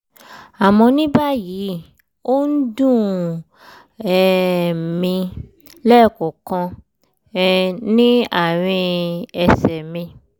àmọ́ ní báyìí ó ń dùn um mí lẹ́ẹ̀kọ̀ọ̀kan um ní àárín ẹsẹ̀ mi